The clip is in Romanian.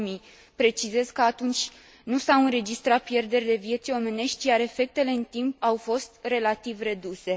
2000. Precizez că atunci nu s au înregistrat pierderi de vieți omenești, iar efectele în timp au fost relativ reduse.